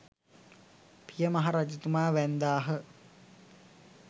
පිය මහ රජතුමා වැන්දාහ.